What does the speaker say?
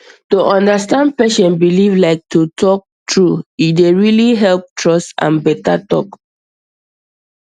to understand patient belief like to talk true e dey really help trust and better talk